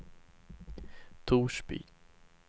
Torsby